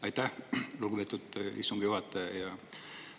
Aitäh, lugupeetud istungi juhataja!